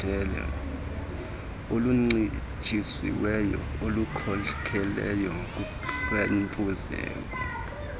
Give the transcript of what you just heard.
oluncitshisiweyo olukhokelela kuhlwempuzeko